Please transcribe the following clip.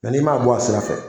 Mɛ n'i m'a bɔ a sira fɛ,